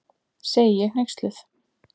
segi ég hneyksluð.